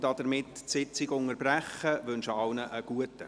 Hiermit unterbreche ich die Sitzung und wünsche allen einen guten Appetit.